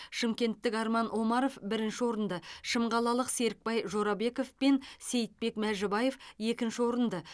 шымкенттік арман омаров бірінші орынды шымқалалық серікбай жорабеков пен сейітбек мәжібаев екінші орынды